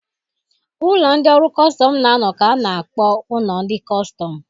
Ụlọ ndị ọrụ kọstọm na-anọ ka a na-akpọ ụlọ ndị kọstọm.